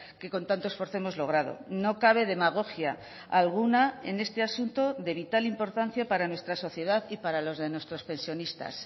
que con tanto esfuerzo hemos logrado no cabe demagogia alguna en este asunto de vital importancia para nuestra sociedad y para los de nuestros pensionistas